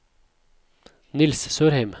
Niels Sørheim